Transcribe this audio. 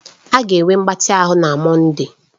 A ga-enwe mgbatị ahụ na Mọnde.